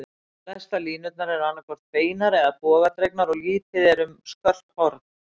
Flestar línurnar eru annað hvort beinar eða bogadregnar, og lítið er um skörp horn.